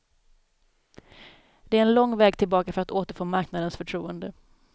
Det är en lång väg tillbaka för att återfå marknadens förtroende.